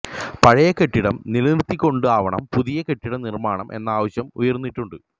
പഴയ കെട്ടിടം നിലനിര്ത്തിക്കൊണ്ടാവണം പുതിയ കെട്ടിട നിര്മ്മാണം എന്ന ആവശ്യം ഉയര്ന്നിട്ടുണ്ട്